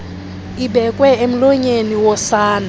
ibekwe emlonyeni wosana